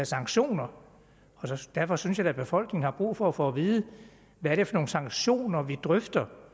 sanktioner derfor synes jeg da befolkningen har brug for at få at vide hvilke sanktioner vi drøfter